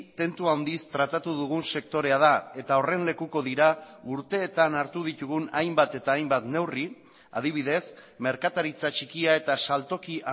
tentu handiz tratatu dugun sektorea da eta horren lekuko dira urteetan hartu ditugun hainbat eta hainbat neurri adibidez merkataritza txikia eta saltoki